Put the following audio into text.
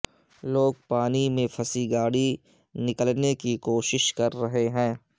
لوگ پانی میں پھنسی گاڑی نکلنے کی کوشش کر رہے ہیں